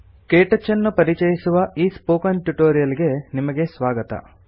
ಕೆಟಚ್ ಅನ್ನು ಪರಿಚಯಿಸುವ ಈ ಸ್ಪೋಕನ್ ಟ್ಯುಟೋರಿಯಲ್ ಗೆ ನಿಮಗೆ ಸ್ವಾಗತ